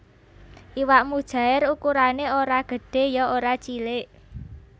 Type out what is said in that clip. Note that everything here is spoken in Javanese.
Iwak mujaèr ukurané ora gedhé ya ora cilik